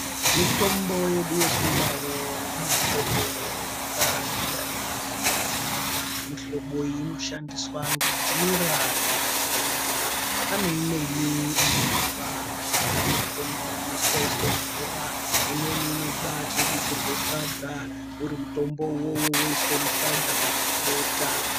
Mitombo yedu yechindau ine mihlobo yakasiyana -siyana, mihlobo iyi inoshandiswa ngenjira dzakasiyana, pane imweni inonongwa mashakani akhona omeswa oiswa mumvura imweni inobatobikirwe sadza uri mutombo iwowo woiswa musadza kana mubota.